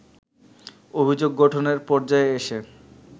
অভিযোগ গঠনের পর্যায়ে এসে